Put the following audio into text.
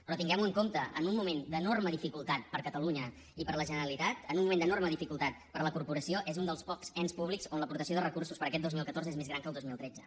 però tinguem ho en compte en un moment d’enorme dificultat per a catalunya i per a la generalitat en un moment d’enorme dificultat per a la corporació és un dels pocs ens públics on l’aportació de recursos per a aquest dos mil catorze és més gran que al dos mil tretze